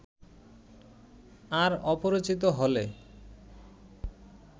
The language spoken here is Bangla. আর অপরিচিত হলে